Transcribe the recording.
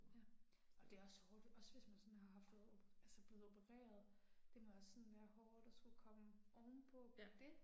Ja. Og det er også hårdt, også hvis man sådan har fået altså blevet opereret, det må også sådan være hårdt at skulle komme ovenpå det